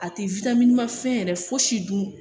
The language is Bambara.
A ti fɛn yɛrɛ fosi dun